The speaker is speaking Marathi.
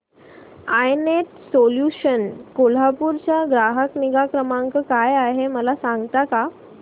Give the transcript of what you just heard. आय नेट सोल्यूशन्स कोल्हापूर चा ग्राहक निगा क्रमांक काय आहे मला सांगता का